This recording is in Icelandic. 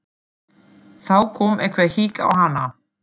Þá kom eitthvert hik á hana.